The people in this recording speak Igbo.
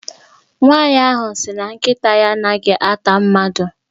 Nwaanyị ahụ sị na nkịta ya a naghị ata mmadụ.